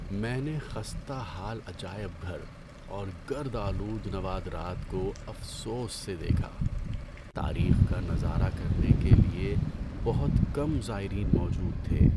‏میں نے خستہ حال عجائب گھر اور گرد آلود نوادرات کو افسوس سے دیکھا۔ تاریخ کا نظارہ کرنے کے لیے بہت کم زائرین موجود تھے۔